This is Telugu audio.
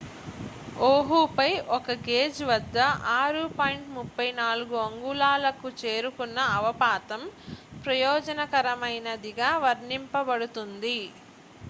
"ఓహుపై ఒక గేజ్ వద్ద 6.34 అంగుళాలకు చేరుకున్న అవపాతం "ప్రయోజనకరమైనది""గా వర్ణించబడుతుంది.